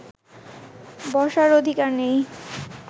বসার অধিকার নেই